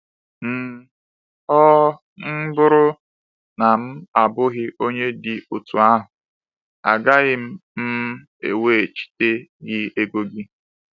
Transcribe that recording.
um “Ọ um bụrụ na m abụghị onye dị otú ahụ, agaghị m um eweghachite gị ego gị.”